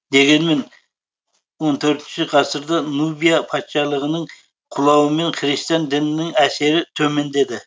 дегенмен он төртінші ғасырда нубия патшалығының құлауымен христиан дінінің әсері төмендеді